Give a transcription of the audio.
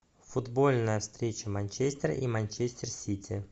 футбольная встреча манчестера и манчестер сити